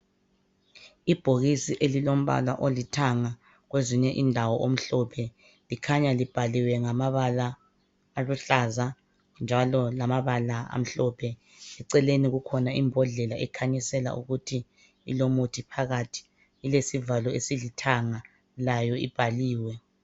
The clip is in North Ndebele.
Ibhokisi elilompala olithanga kwezinye indawo omhlophe likhanya libhaliwe ngamabala aluhlaza njalo ngamabala amhlophe. Eceleni kukhona ibhodlela ekhanyisela ukuthi ilomuthi phakathi, ilesivalo esilithanga layo ibhaliwe.